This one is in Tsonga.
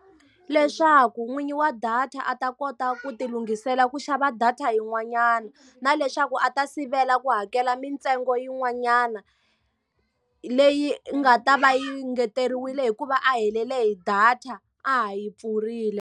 Leswaku n'winyi wa data a ta kota ku ti lunghisela ku xava data yin'wanyana. Na leswaku a ta sivela ku hakela mintsengo yin'wanyana leyi nga ta va yi engeteriwile hikuva a helele hi data, a ha yi pfurile.